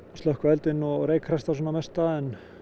slökkva eldinn og reykræsta svona mesta